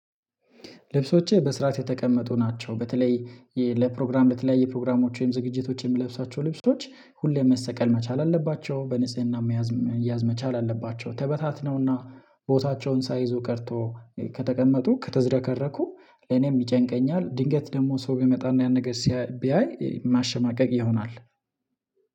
ልብሶቼ በስራት የተቀመጡ ናቸው። በተለይ ለፕሮግራም ለተለያየ ፕሮግራሞች ወይም ዝግጅቶች የሚለብሳቸው ልብሶች ሁሌም መሰቀል መቻል አለባቸው በንጽህና መያዝ መያዝ መቻል አለባቸው። ተበታትነውና ቦታቸውን ሳይዙ ቀርቶ ከተቀመጡ ከተዝረከረኩ ለኔም ይጨንቀኛል። ድንገት ደግሞ ሰው ቢመጣና ያን ነገር ሲያይ ቢያይ መሸማቀቅ ይሆናል።